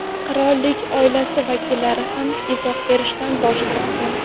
Qirollik oilasi vakillari ham izoh berishdan bosh tortgan.